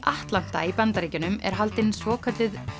Atlanta í Bandaríkjunum er haldin svokölluð